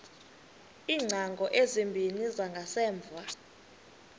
iingcango ezimbini zangasemva